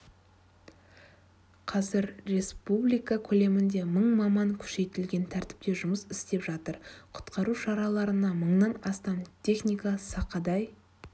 қазір республика көлемінде мың маман күшейтілген тәртіпте жұмыс істеп жатыр құтқару шараларына мыңнан астам техника сақадай